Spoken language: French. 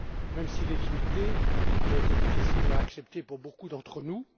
Même s'il est limité, il a été difficile à accepter pour beaucoup d'entre nous.